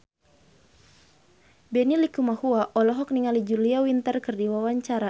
Benny Likumahua olohok ningali Julia Winter keur diwawancara